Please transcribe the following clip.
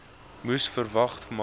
moes verwag maar